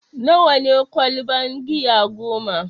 Nawa ne ƙwalban giya goma?